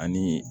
Ani